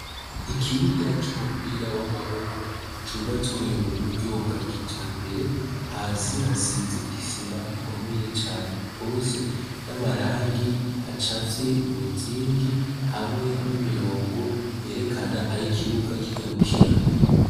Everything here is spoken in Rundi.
Ikibuga c'umupira w'amaboko cubatswe mu buryo bwa kijambere, hasi hasize isima ikomeye cane gose n'amarangi acafye imizingi hamwe n'imirongo yerekana ahikibuga kigarukira.